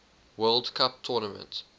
world cup tournament